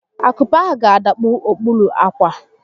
Akupe ahụ ga-adakpu okpuru ákwà